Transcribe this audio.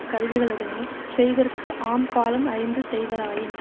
கருவிகளுடனே செய்தற்கு ஆம் காலம் அறிந்து செய்வராயின்